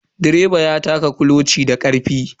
Direban ya taka kuloci da karfe.